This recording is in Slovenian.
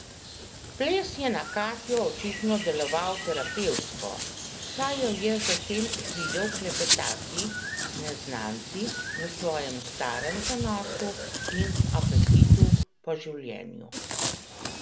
Ples je na Katjo očitno deloval terapevtsko, saj jo je zatem videl klepetati z neznanci v svojem starem zanosu in apetitu po življenju.